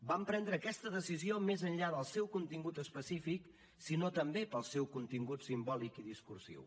vam prendre aquesta decisió més enllà del seu contingut específic sinó també pel seu contingut simbòlic i discursiu